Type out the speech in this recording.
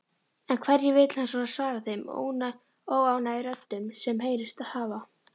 En hverju vill hann svara þeim óánægjuröddum sem heyrst hafa?